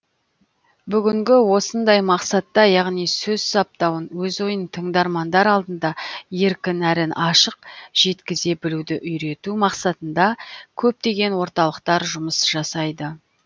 бүгінгі осындай мақсатта яғни сөз саптауын өз ойын тыңдармандар алдында еркін әрі ашық жеткізе білуді үйрету мақсатында көптеген орталықтар жұмыс жасайды